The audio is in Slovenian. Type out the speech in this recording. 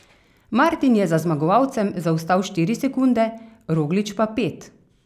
Martin je za zmagovalcem zaostal štiri sekunde, Roglič pa pet.